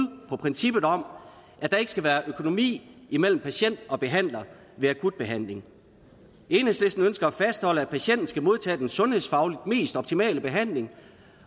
på princippet om at der ikke skal være økonomi imellem patient og behandler ved akut behandling enhedslisten ønsker at fastholde at patienten skal modtage den sundhedsfagligt mest optimale behandling